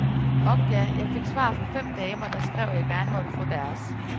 Ork ja, jeg fik svar fra fem damer, der skrev, at jeg gerne måtte få deres.